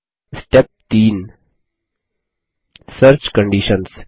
step 3 search conditions